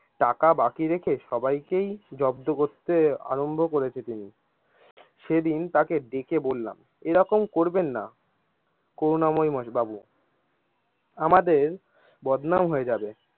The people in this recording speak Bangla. টাকা বাকি রেখে সবাইকেই জব্দ করতে আরম্ভ করেছে তিনি, সেদিন সেদিন তাকে ডেকে বললাম এরকম করবেন না করুনা ময় বাবু আমাদের বদনাম হয়ে যাবে।